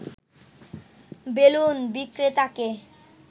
balloon বিক্রেতাকে